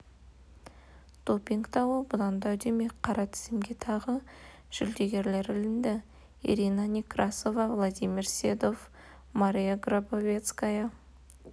допинг дауы бұдан да үдемек қара тізімге тағы жүлдегер ілінді ирина некрасова владимир седов мария грабовецкая